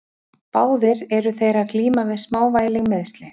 Báðir eru þeir að glíma við smávægileg meiðsli.